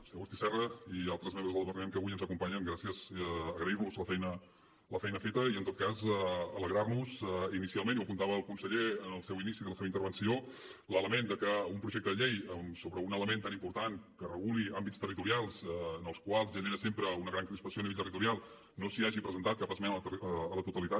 senyor agustí serra i altres membres del departament que avui ens acompanyen gràcies i agrairlos la feina feta i en tot cas alegrar nos inicialment i ho apuntava el conseller en l’inici de la seva intervenció de l’element de que en un projecte de llei sobre un element tan important que reguli àmbits territorials en els quals genera sempre una gran crispació a nivell territorial no s’hagi presentat cap esmena a la totalitat